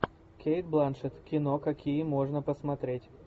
кейт бланшетт кино какие можно посмотреть